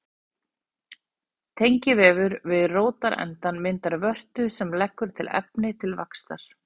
Tengivefur við rótarendann myndar vörtu sem leggur til efni til vaxtar.